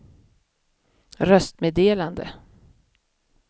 röstmeddelande